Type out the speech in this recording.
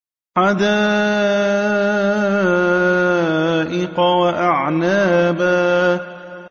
حَدَائِقَ وَأَعْنَابًا